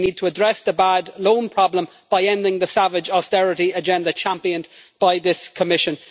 we need to address the bad loan problem by ending the savage austerity agenda championed by this Commission